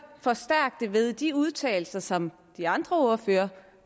forstærke det ved de udtalelser som de andre ordførere